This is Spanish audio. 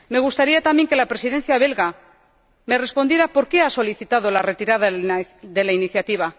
Me gustaría también que la Presidencia belga me respondiera por qué ha solicitado la retirada de la iniciativa.